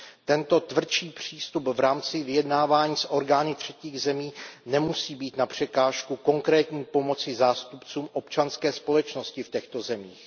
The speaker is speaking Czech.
Tento tvrdší přístup v rámci vyjednávání s orgány třetích zemí nemusí být na překážku konkrétní pomoci zástupcům občanské společnosti v těchto zemích.